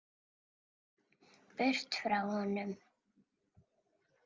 Burt frá honum.